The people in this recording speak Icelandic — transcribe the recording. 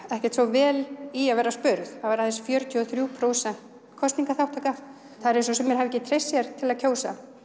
ekkert svo vel í að vera spurð það var aðeins fjörutíu og þrjú prósent kosningaþátttaka það er eins og sumir hafi ekki treyst sér til að kjósa